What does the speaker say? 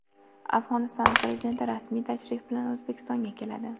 Afg‘oniston prezidenti rasmiy tashrif bilan O‘zbekistonga keladi.